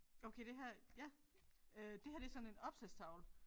Okay det her ja øh det her det sådan en opslagstavle